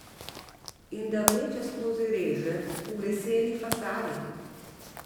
In da vleče skozi reže v leseni fasadi.